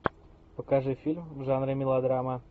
покажи фильм в жанре мелодрама